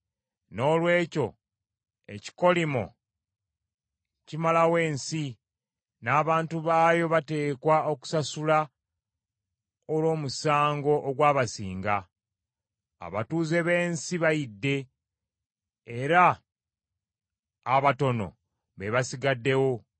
Noolwekyo ekikolimo kimalawo ensi; n’abantu baayo bateekwa okusasula olw’omusango ogwabasinga. Abatuuze b’ensi bayidde, Era abatono be basigaddewo.